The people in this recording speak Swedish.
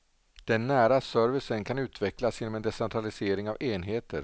Den nära servicen kan utvecklas genom en decentralisering av enheter.